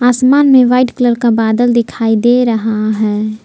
आसमान में white colour का बादल दिखाई दे रहा है।